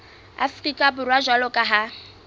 afrika borwa jwalo ka ha